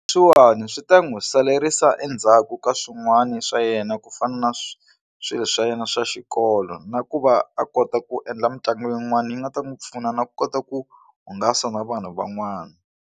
Leswiwani swi ta n'wi saleriwa endzhaku ka swin'wani swa yena ku fana na swilo swa yena swa xikolo na ku va a kota ku endla mitlangu yin'wana yi nga ta n'wi pfuna na ku kota ku hungasa na vanhu van'wana.